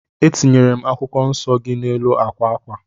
Etinyere m akwụkwọ nsọ gị n'elu akwa akwa